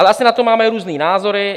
Ale asi na to máme různé názory.